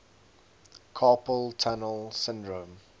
carpal tunnel syndrome